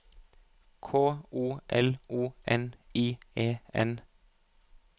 K O L O N I E N